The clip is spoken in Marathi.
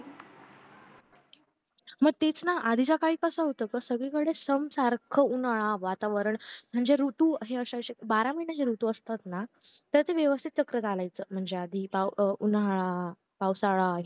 मग तेच ना आधी च्या काळी कास होत कि सगळी कडे सम सारखा उन्हाळा वातावरण म्हणजे ऋतू हे अशे अशे बारा महिने असताना ते असे व्यवस्तीत चक्र चालायचं म्हणजे आधी उन्हाळा पावसाळा